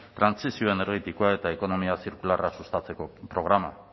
trantsizio energetikoa eta ekonomia zirkularra sustatzeko programa